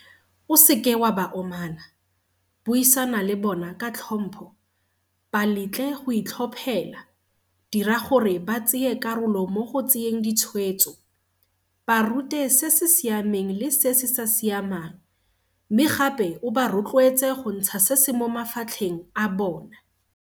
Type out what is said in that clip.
O seke wa ba omana, buisana le bona ka tlhompho, ba letle go itlhophela, dira gore ba tseye karolo mo go tseyeng ditshwetso, ba rute se se siameng le se se sa siamang, mme gape o ba rotloetse go ntsha se se mo mafatlheng a bona.